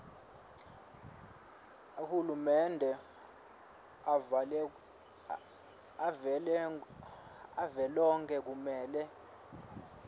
ahulumende avelonkhe kumele